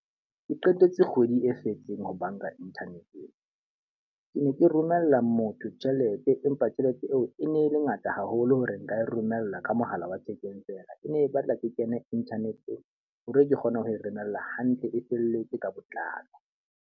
Ke qetetse kgwedi e fetseng ho banka internet-eng. Ke ne ke romella motho tjhelete empa tjhelete eo e ne le ngata haholo hore nka e romela ka mohala wa thekeng fela. E ne e batla ke kene internet-eng hore ke kgone ho e romella hantle e felletswe ka botlalo.